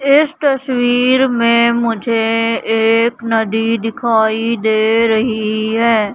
इस तस्वीर में मुझे एक नदी दिखाई दे रही है।